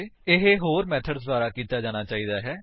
ਇਹ ਹੋਰ ਮੇਥਡਸ ਦੁਆਰਾ ਕੀਤਾ ਜਾਣਾ ਚਾਹੀਦਾ ਹੈ